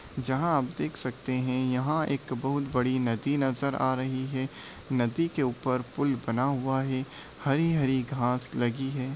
जहाँ आप देख सकते हैं। यहां एक बहुत बड़ी नदी नजर आ रही है। नदी के ऊपर पुल बना हुआ है हरी-हरी घास लगी है।